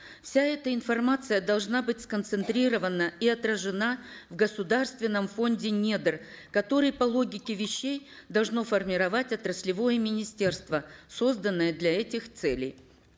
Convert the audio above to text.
вся эта информация должна быть сконцентрирована и отражена в государственном фонде недр которые по логике вещей должно формировать отраслевое министерство созданное для этих целей